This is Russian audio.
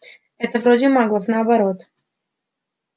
это вроде маглов наоборот